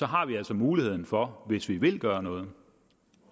har vi altså muligheden for hvis vi vil gøre noget